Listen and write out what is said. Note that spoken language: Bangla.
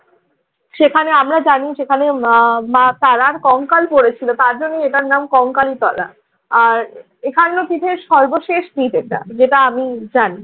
সেখানে আমরা যাইনি সেখানে মা মা তারার কঙ্কাল পরে ছিল, তার জন্যই এটার নাম কংকালতলা। আর এখানেও পিঠের সর্বশেষ পিঠ এটা, যেটা আমি জানি।